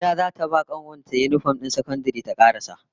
Harira zata ba kanuwar yinifom din ta na sakandare ta karasa